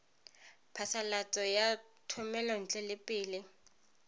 phasalatso ya thomelontle le peel